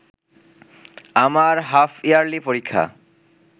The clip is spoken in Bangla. আমার হাফইয়ার্লি পরীক্ষা